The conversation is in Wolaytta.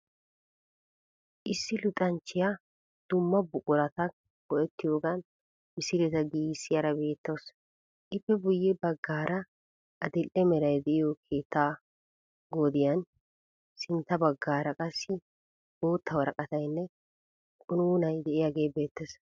Issi luxanchchiya dumma buqurata go"ettiyoogan misileta giigissiyaara beettawusu. Ippe guye baggaara adil"e meray de'iyo keettaa godayinne sintta baggaara qassi bootta woraqatayinne qunuunayi de'iyagee beettees.